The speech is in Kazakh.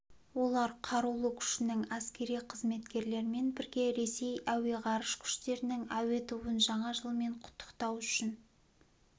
олар қарулы күшінің әскери қызметкерлерімен бірге ресей әуе ғарыш күштерінің әуе тобын жаңа жылмен құттықтау үшін